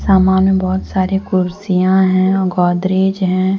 सामान में बहुत सारे कुर्सियां हैं और गोदरेज हैं।